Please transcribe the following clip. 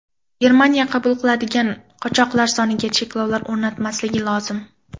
Germaniya qabul qiladigan qochoqlar soniga cheklov o‘rnatmasligi lozim.